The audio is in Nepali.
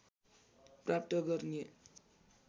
प्राप्त गर्ने